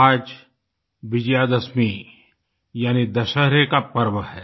आज विजयादशमी यानि दशहरे का पर्व है